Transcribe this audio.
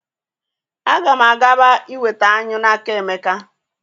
A ga m agaba iweta anyụ n'aka Emeka.